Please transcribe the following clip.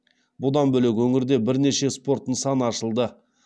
бұдан бөлек өңірде бірнеше спорт нысаны ашылды